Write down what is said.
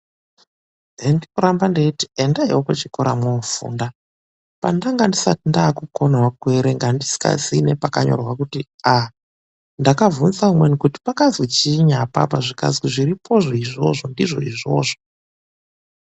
HENDIRIKURAMDA NDEITI ENDAIWO KUCHIKORA MWOOFUNDA. PANDANGA NDISATI NDAAKUKONAWO KUERENGA NDISINGAZII NEPAKANYORWA KUTI A.NDAKAVHUNZA UMWENI KUTI PAKAZWI CHIINYI APAPA, ZVIKAZI ZVIRIPOZVO IZVOZVO NDIZVO IZVOZVO.